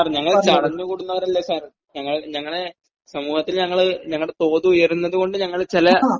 sir ഞങ്ങള് ചടഞ്ഞു കൂടുന്നവരല്ല സർ ഞങ്ങള് ഞങ്ങള് സമൂഹത്തിൽ ഞങ്ങൾ ഞങ്ങളുടെ തോത് ഉയരുന്നത് കൊണ്ട് ഞങ്ങള് ചില